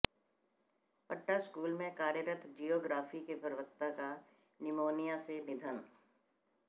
पट्टा स्कूल में कार्यरत जियोग्राफी के प्रवक्ता का निमोनिया से निधन